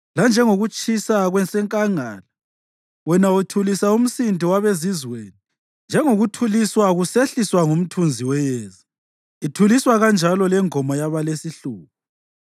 lanjengokutshisa kwasenkangala. Wena uthulisa umsindo wabezizweni; njengokutshisa kusehliswa ngumthunzi weyezi, ithuliswa kanjalo lengoma yaba lesihluku.